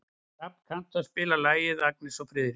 Hrafn, kanntu að spila lagið „Agnes og Friðrik“?